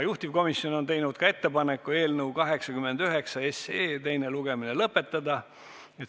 Juhtivkomisjon on teinud ka ettepaneku eelnõu 89 teine lugemine lõpetada.